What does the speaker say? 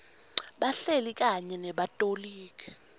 bahleli kanye nebatoligi